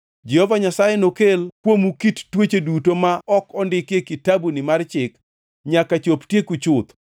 Jehova Nyasaye nokel kuomu kit tuoche duto ma ok ondiki e kitabuni mar chik nyaka chop tieku chuth.